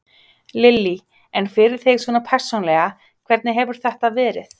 Lillý: En fyrir þig svona persónulega, hvernig hefur þetta verið?